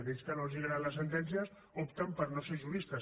aquells que no els agraden les sentències opten per no ser juristes